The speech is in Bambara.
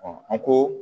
an ko